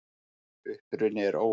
Uppruni er óviss.